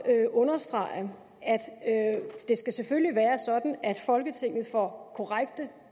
understrege at det selvfølgelig skal være sådan at folketinget får korrekte